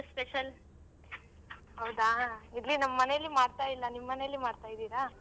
ಹೌದಾ ಇಲ್ಲಿ ನಮ್ಮನೇಲಿ ಮಾಡ್ತಾ ಇಲ್ಲ ನಿಮ್ ಮನೇಲಿ ಮಾಡ್ತಾ ಇದಿರಾ?